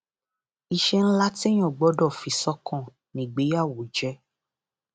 iṣẹ ńlá téèyàn gbọdọ fi sọkàn ni ìgbéyàwó jẹ